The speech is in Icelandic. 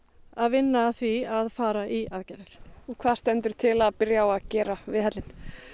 að vinna að því nuna að fara í aðgerðir og hvað stendur til að byrja á að gera við hellinn